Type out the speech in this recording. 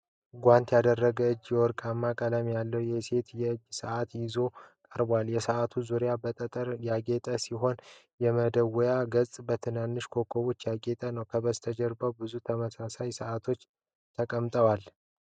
ጓንት ያደረገ እጅ የወርቅ ቀለም ያለው የሴቶች የእጅ ሰዓት ይዞ ቀርቧል። የሰዓቱ ዙሪያ በጠጠር ያጌጠ ሲሆን፣ የመደወያው ገጽ በትንንሽ ኮከቦች ያጌጠ ነው። ከበስተጀርባ ብዙ ተመሳሳይ ሰዓቶች ተቀምጠዋል።